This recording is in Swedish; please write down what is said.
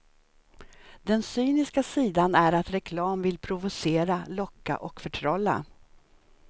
Den cyniska sidan är att reklam vill provocera, locka och förtrolla.